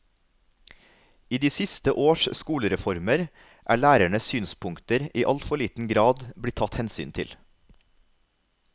I de siste års skolereformer er lærernes synspunkter i altfor liten grad blitt tatt hensyn til.